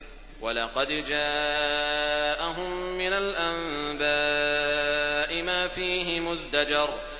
وَلَقَدْ جَاءَهُم مِّنَ الْأَنبَاءِ مَا فِيهِ مُزْدَجَرٌ